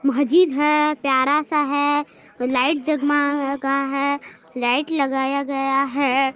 मस्जिद है प्यारा सा है लाइट जगमागा है लाइट लगाया गया है।